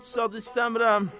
Heç zad istəmirəm.